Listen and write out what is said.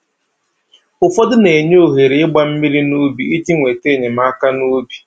Ụfọdọ na-enye ohere ịgba mmiri n'ubi iji nweta enyemaka n'ubi